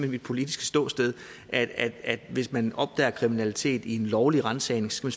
mit politiske ståsted at hvis man opdager kriminalitet i en lovlig ransagning skal